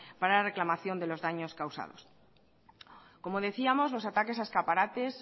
para la reclamación de los daños causados como decíamos los ataques a escaparates